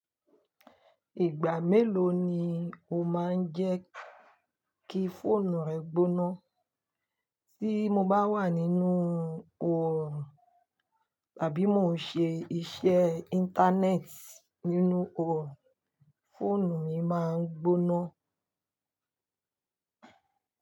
Ìgbà mélòó ni o máa ń jẹ́ kí fóònù rẹ gbóná? Tí mo bá wà nínú oòrùn tàbí mo ń ṣe iṣẹ́ Íńtánẹ́ẹ̀tì nínú oòrùn, fóònù mi máa ń gbóná.